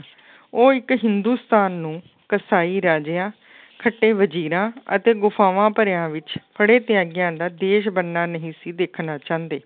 ਉਹ ਇੱਕ ਹਿੰਦੁਸਤਾਨ ਨੂੰ ਕਸਾਈ ਰਾਜਿਆਂ ਖੱਟੇ ਵਜ਼ੀਰਾਂ ਅਤੇ ਗੁਫ਼ਾਫ਼ਾਂ ਭਰਿਆਂ ਵਿੱਚ ਫੜੇ ਤਿਆਗਿਆਂ ਦਾ ਦੇਸ ਬਣਨਾ ਨਹੀਂ ਸੀ ਦੇਖਣਾ ਚਾਹੁੰਦੇ।